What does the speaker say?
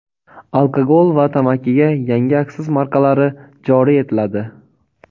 Alkogol va tamakiga yangi aksiz markalari joriy etiladi.